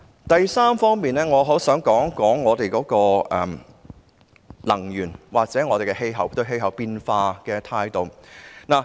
第三，我想談談能源及我們對氣候變化的態度。